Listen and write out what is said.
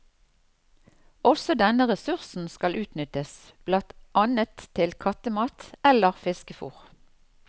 Også denne ressursen skal utnyttes, blant annet til kattemat eller fiskefôr.